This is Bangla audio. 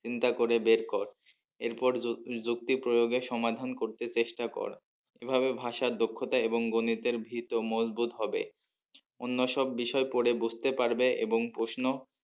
চিন্তা করে বের কর এর পর যুক্তি প্রয়োগে সমাধান করতে চেষ্টা কর এভাবে ভাষার দক্ষতা এবং গণিতের ভীত ও মজবুত হবে। অন্য সব বিষয় পরে বুঝতে পারবে এবং প্রশ্ন